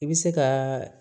I bɛ se ka